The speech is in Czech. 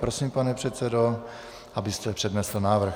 Prosím, pane předsedo, abyste přednesl návrh.